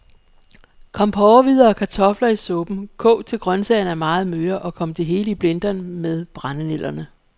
Kom porrehvider og kartofler i suppen, kog til grøntsagerne er meget møre, og kom det hele i blenderen med brændenælderne.